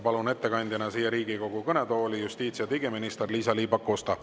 Palun ettekandeks Riigikogu kõnetooli justiits‑ ja digiminister Liisa-Ly Pakosta.